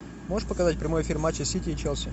можешь показать прямой эфир матча сити и челси